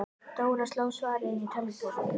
Dóra sló svarið inn í tölvupóst.